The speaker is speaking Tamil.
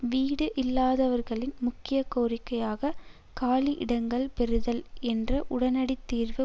வீடு இல்லாதவர்களின் முக்கிய கோரிக்கையாக காலி இடங்கள் பெறுதல் என்ற உடனடித் தீர்வு